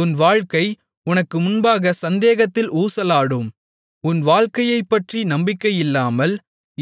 உன் வாழ்க்கை உனக்கு முன்பாகச் சந்தேகத்தில் ஊசலாடும் உன் வாழ்க்கையைப்பற்றி நம்பிக்கையில்லாமல்